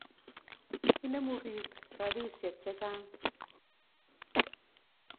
Inemu piik rapisyek che chang'.